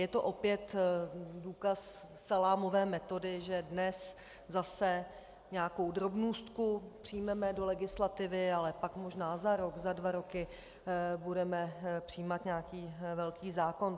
Je to opět důkaz salámové metody, že dnes zase nějakou drobnůstku přijmeme do legislativy, ale pak možná za rok za dva roky budeme přijímat nějaký velký zákon.